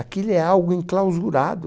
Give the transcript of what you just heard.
Aquilo é algo enclausurado.